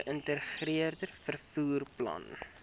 geïntegreerde vervoer plan